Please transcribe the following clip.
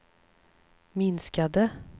minskade